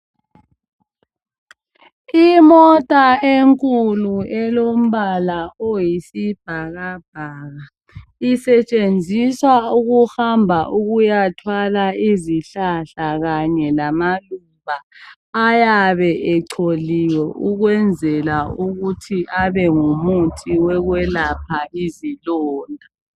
Imota enkulu elombala oyisibhakabhaka isetshenziswa ukuhamba ukuyathwala izihlahla kanye lamaluba ayabe echoliwe ukwenzela ukuthi abe ngumuthi wokwelapha izilonda.